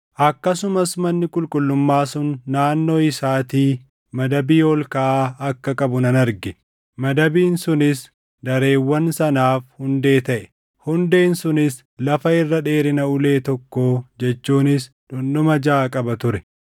Akkasumas manni qulqullummaa sun naannoo isaatii madabii ol kaʼaa akka qabu nan arge; madabiin sunis dareewwan sanaaf hundee taʼe. Hundeen sunis lafa irra dheerina ulee tokkoo jechuunis dhundhuma jaʼa qaba ture.